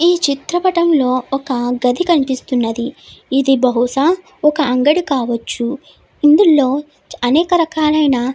ఈ చిత్ర పటం లో ఒక గది కనిపిస్తున్నది ఇది బహుశా ఒక అంగడి కావచ్చు ఇందులో అనేక రకాలైన --